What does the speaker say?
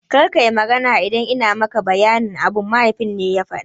Kar kayi magana idan ina maka bayanin abu, mahaifin ya faɗa.